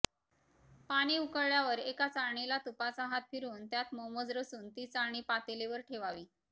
पाणी उकळल्यावर एका चाळणीला तुपाचा हात फिरवून त्यात मोमोज रचून ती चाळणी पातेलीवर ठेवावी